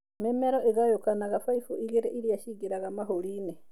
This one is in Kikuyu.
Mimero ũngayĩkanaga baibũ igĩrĩ iria cingĩraga mahũriinĩ.